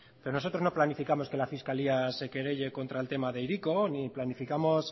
pero nosotros no planificamos que la fiscalía se querelle contra el tema de hiriko ni planificamos